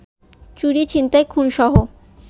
চুরি, ছিনতাই, খুনসহ